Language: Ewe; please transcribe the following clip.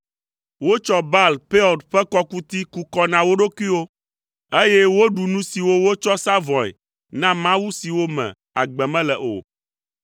Wotsɔ Baal Peor ƒe kɔkuti ku kɔ na wo ɖokuiwo, eye woɖu nu siwo wotsɔ sa vɔ̃e na mawu siwo me agbe mele o.